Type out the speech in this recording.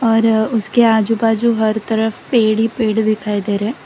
और उसके आजू बाजू हर तरफ पेड़ ही पेड़ दिखाई दे रहे।